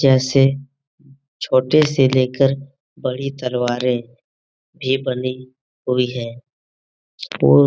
जैसे छोटे से लेकर बड़ी तलवारे भी बनी हुई है उ --